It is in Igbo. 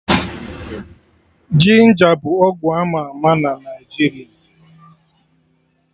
Ginja bụ ọgwụ ama ama na Naijiria